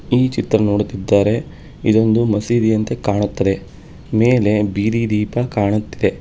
ಈ ಚಿತ್ರ ನೋಡುತ್ತಿದ್ದರೆ ಇದೊಂದು ಮಸೀದಿಯಂತೆ ಕಾಣುತ್ತದೆ ಮೇಲೆ ಬೀದಿ ದೀಪ ಕಾಣುತ್ತೆ.